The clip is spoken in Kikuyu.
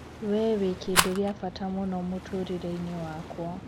Wee wii kindũ gia bata mũno muturireini wakwa!